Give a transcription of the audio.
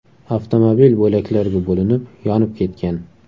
Avtomobil bo‘laklarga bo‘linib, yonib ketgan.